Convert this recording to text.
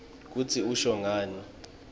kutsi usho ngani